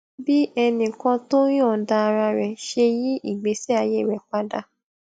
bí ẹnì kan tó yòǹda ara rè ṣe yí ìgbésí ayé rè padà